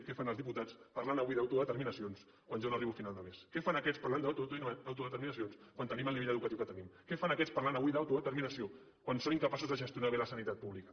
què fan els diputats parlant avui d’autodeterminacions quan jo no arribo a final de mes què fan aquests parlant d’autodeterminacions quan tenim el nivell educatiu que tenim què fan aquests parlant avui d’autodeterminació quan són incapaços de gestionar bé la sanitat pública